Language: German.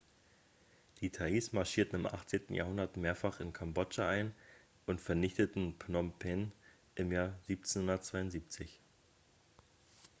die thais marschierten im 18. jahrhundert mehrfach in kambodscha ein und vernichteten phnom penh im jahr 1772